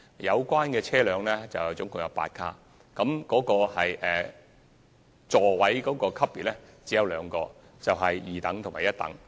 這些列車並有8個車卡，座位級別只有兩種，即一等和二等。